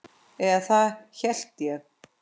Eða það hélt ég!